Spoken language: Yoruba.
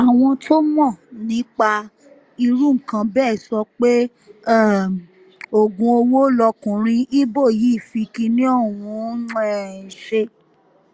àwọn tó mọ̀ nípa irú nǹkan bẹ́ẹ̀ sọ pé um oògùn owó lọkùnrin ibo yìí fi kínní ọ̀hún um ṣe